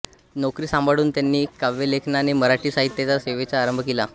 नोकरी सांभाळून त्यांनी काव्यलेखनाने मराठी साहित्याच्या सेवेचा आरंभ केला